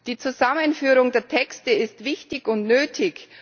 Die Zusammenführung der Texte ist wichtig und nötig.